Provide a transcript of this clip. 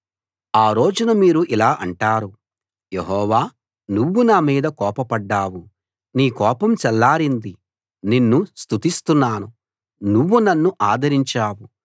ఆ రోజున మీరు ఇలా అంటారు యెహోవా నువ్వు నా మీద కోపపడ్డావు నీ కోపం చల్లారింది నిన్ను స్తుతిస్తున్నాను నువ్వు నన్ను ఆదరించావు